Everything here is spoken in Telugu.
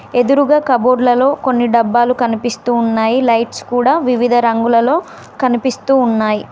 ఎదురుగా కపబోర్డ్ల లో కొన్ని డబ్బాలు కనిపిస్తూ ఉన్నాయి లైట్స్ కూడా వివిధ రంగులలో కనిపిస్తూ ఉన్నాయి.